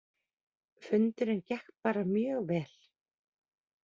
Fundurinn gekk bara mjög vel